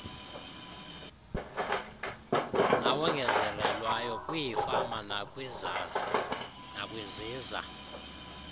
nawongezelelweyo kwiifama nakwiziza